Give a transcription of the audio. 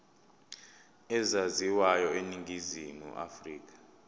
ezaziwayo eningizimu afrika